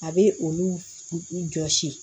A bɛ olu jɔsi